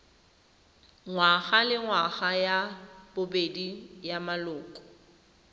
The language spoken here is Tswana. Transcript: ngwagalengwaga ya bobedi ya maloko